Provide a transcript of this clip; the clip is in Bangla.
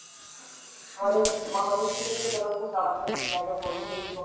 আমাদের বাংলাদেশ থেকে যে জনসংখ্যা বাড়তেছে জায়গা কম জমি কম।